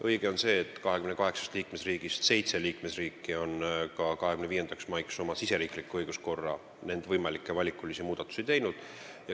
Õige on see, et 28 liikmesriigist 7 on ka 25. maiks oma riigisiseses õiguskorras võimalikke valikulisi muudatusi teinud.